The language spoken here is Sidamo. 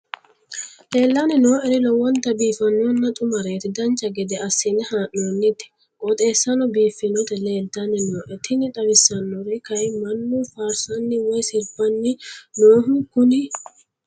leellanni nooeri lowonta biiffinonna xumareeti dancha gede assine haa'noonniti qooxeessano biiffinoti leeltanni nooe tini xawissannori kayi mannu faarsani woy sirbanni nooho kuni